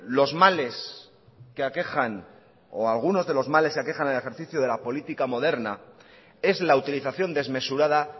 los males que aquejan o algunos de los males que aquejan el ejercicio de la política moderna es la utilización desmesurada